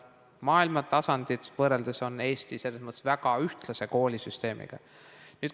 Maailmatasandiga võrreldes on Eesti selles mõttes väga ühtlase koolisüsteemiga.